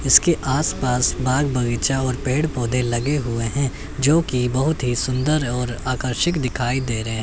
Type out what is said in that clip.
इसके आस पास बाग बगीचा और पेड़ पौधे लगे हुए हैं जो की बहुत ही सुंदर और आकर्षक दिखाई दे रहे।